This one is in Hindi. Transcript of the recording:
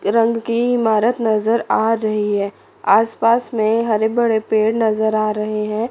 रंग की इमारत नजर आ रही है आस पास में हरे भरे पेड़ नजर आ रहे हैं।